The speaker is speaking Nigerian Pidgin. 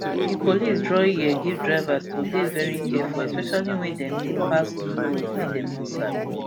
di police draw ear give drivers to dey veri careful especially wen dem dey pass new roads wey dem no sabi